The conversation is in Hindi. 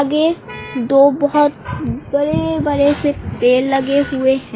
ये दो बहोत बड़े बड़े से पेड़ लगे हुए हैं।